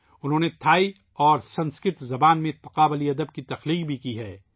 انہوں نے تھائی اور سنسکرت زبانوں میں تقابلی ادب بھی تحریر کیا ہے